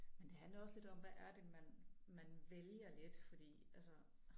Men det handler også lidt om hvad er det man man vælger lidt fordi altså